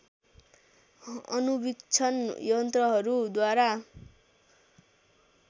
अणुवीक्षण यन्त्रहरू द्वारा